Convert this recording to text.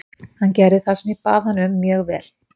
Hann gerði það sem ég bað hann um mjög vel.